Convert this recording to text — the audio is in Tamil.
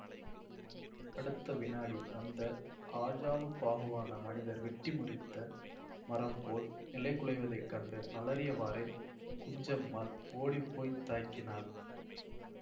அடுத்த விநாடி அந்த ஆஜானுபாகுவான மனிதர் வெட்டி முறித்த மரம் போல் நிலைகுலைவதைக் கண்டு அலறியவாறே குஞ்சம்மாள் ஓடிப்போய்த் தாங்கினாள்